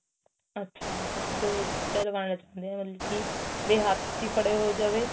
ਅੱਛਾ ਤੁਸੀਂ ਦੋ ਚੀਜ਼ਾ ਲਗਾਣਾ ਚਾਉਂਦੇ ਓ ਮਤਲਬ ਕੀ ਵੀ ਹੱਥ ਚ ਈ ਫੜੇ ਹੋ ਜਾਵੇ